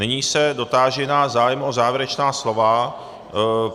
Nyní se dotáži na zájem o závěrečná slova.